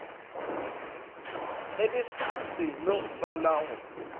ge di seno tswala go